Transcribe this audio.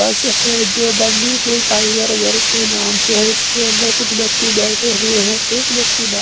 बस है जो बंदीपुर टाइगर जर के नाम से है इसके अंदर कुछ व्यक्ति बैठे हुए हैं एक व्यक्ति बा--